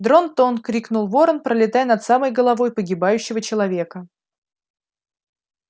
дрон-тон крикнул ворон пролетая над самой головой погибающего человека